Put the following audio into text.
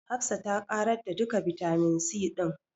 Hafsa ta ƙarar da duka bitamin C ɗin.